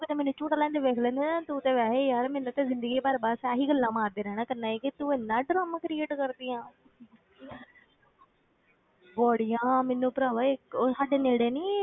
ਕਦੇ ਮੈਨੂੰ ਝੂਟਾ ਲੈਂਦੇ ਵੇਖ ਲੈਂਦੇ ਨਾ, ਤੂੰ ਤੇ ਵੈਸੇ ਹੀ ਯਾਰ ਮੈਨੂੰ ਤੇ ਜ਼ਿੰਦਗੀ ਭਰ ਬਸ ਇਹੀ ਗੱਲਾਂ ਮਾਰਦੇ ਰਹਿਣਾ ਕਰਨਾ ਸੀਗਾ ਕਿ ਤੂੰ ਇੰਨਾ ਡਰਾਮਾ create ਕਰਦੀ ਹੈਂ ਬੜੀਆਂ ਮੈਨੂੰ ਭਰਾਵਾ ਇੱਕ ਸਾਡੇ ਨੇੜੇ ਨੀ